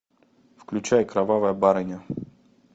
включай кровавая барыня